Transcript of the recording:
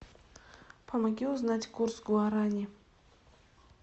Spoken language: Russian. помоги узнать курс гуарани